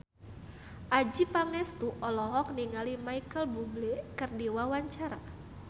Adjie Pangestu olohok ningali Micheal Bubble keur diwawancara